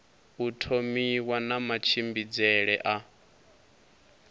u thomiwa na matshimbidzele a